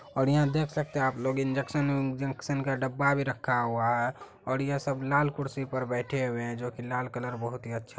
और यहाँ देख सकते हैं आप लोग इन्जेक्शन विनजेक्शन का डब्बा भी रखा हुआ हैं और ये सब लाल कुर्सी पर बैठे हुए हैं जो कि लाल कलर बहुत ही अच्छा--